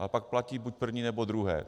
Ale pak platí buď první, nebo druhé.